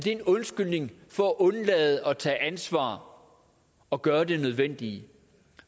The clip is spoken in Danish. en undskyldning for at undlade at tage ansvar og gøre det nødvendige